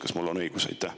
Kas mul on õigus?